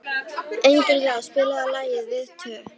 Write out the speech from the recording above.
Engilráð, spilaðu lagið „Við tvö“.